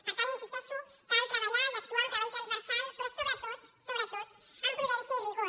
per tant hi insisteixo cal treballar i actuar amb treball transversal però sobretot sobretot amb prudència i rigor